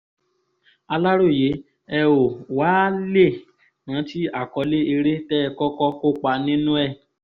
aláròye ẹ ó wàá lè rántí àkọlé eré tẹ́ ẹ kọ́kọ́ kópa nínú ẹ̀